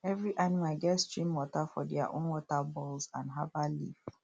every animal get stream water for their own water bowls and herbal leaf